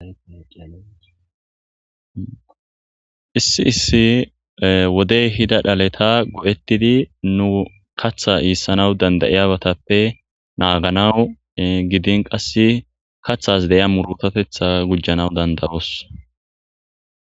Issi issi wodey hida dhaleta go7ettidi nu katha iissanaw dandayiyagatappe naaganawu gidin qass kathas de7iya murutotetha gujjanaw dandayos